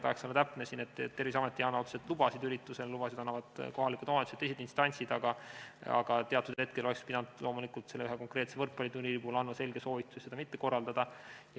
Tahaks olla täpne, Terviseamet ei anna otseselt lubasid ürituste toimumiseks, lubasid annavad kohalikud omavalitsused ja teised instantsid, aga teatud hetkel oleks pidanud loomulikult selle ühe konkreetse võrkpalliturniiri kohta andma selge soovituse seda mitte korraldada.